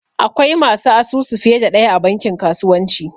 Akwai masu asusu fiye da ɗaya a bankin kasuwanci